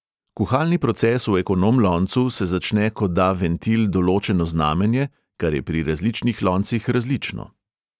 Kuhalni proces v ekonom loncu se začne, ko da ventil določeno znamenje, kar je pri različnih loncih različno.